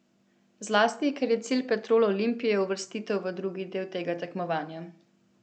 Zlasti, ker je cilj Petrol Olimpije uvrstitev v drugi del tega tekmovanja.